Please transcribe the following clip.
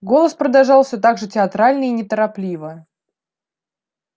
голос продолжал всё так же театрально и неторопливо